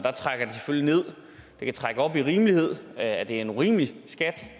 det kan trække op i rimelighed at det er en urimelig skat